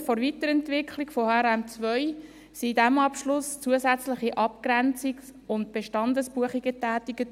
Aufgrund der Weiterentwicklung von HRM2 wurden in diesem Abschluss zusätzliche Abgrenzungs- und Bestandesbuchungen getätigt.